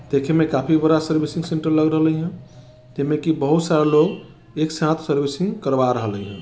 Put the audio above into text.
देखे में काफी बड़ा सर्विसिंग सेंटर लग रहलहईय एमे की बहुत सारा लोग एक साथ सर्विसिंग करवा रहलहईय।